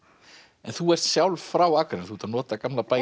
en þú ert sjálf frá Akranesi þú ert að nota gamla bæinn